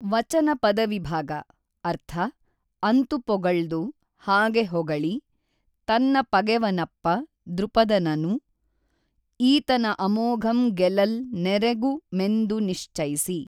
ವಚನ ಪದವಿಭಾಗ ಅರ್ಥ ಅಂತು ಪೊಗೞ್ದು ಹಾಗೆ ಹೊಗಳಿ ತನ್ನ ಪಗೆವನಪ್ಪ ದ್ರುಪದನನು ಈತನ ಅಮೋಘಂ ಗೆಲಲ್ ನೆರೆಗು ಮೆಂದು ನಿಶ್ಚೈಸಿ